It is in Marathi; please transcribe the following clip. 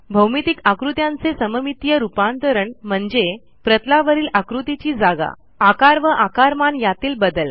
भौमितिक आकृत्यांचे सममितीय रूपांतरण म्हणजे प्रतलावरील आकृतीची जागा आकार व आकारमान यातील बदल